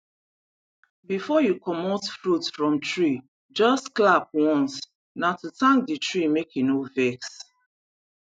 before you commot fruit from treejust clap once na to thank the tree make e no vex